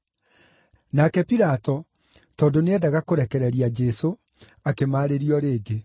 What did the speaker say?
Nake Pilato, tondũ nĩeendaga kũrekereria Jesũ, akĩmaarĩria o rĩngĩ.